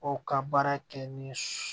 O ka baara kɛ ni